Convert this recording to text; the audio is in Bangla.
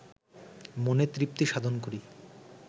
মনে তৃপ্তি সাধন করি